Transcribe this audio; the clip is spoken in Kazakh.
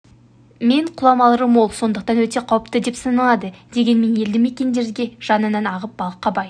мен құламалары мол сондықтан өте қауіпті деп саналады дегенмен елді мекендерге жанынан ағып балыққа бай